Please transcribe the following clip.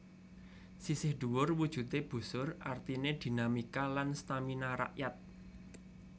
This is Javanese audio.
Sisih dhuwur wujudé busur artiné dinamika lan stamina rakyat